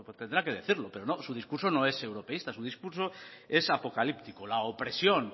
tendrá que decirlo pero su discurso no es europeísta su discurso es apocalíptico la opresión